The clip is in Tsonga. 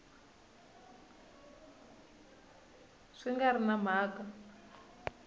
swi nga ri na mhaka